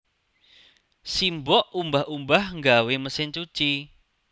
Simbok umbah umbah nggawe mesin cuci